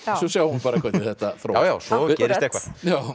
svo sjáum við hvernig þetta þróast já svo gerist eitthvað